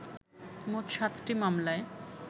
মোট সাতটি মামলায়